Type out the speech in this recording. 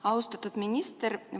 Austatud minister!